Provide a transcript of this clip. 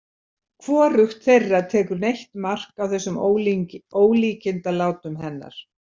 Hvorugt þeirra tekur neitt mark á þessum ólíkindalátum hennar.